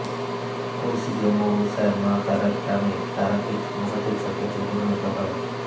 কৌশিকী অমাবস্যায় মা তারার টানে তারাপীঠ মহাতীর্থ ক্ষেত্রে পরিণত হয়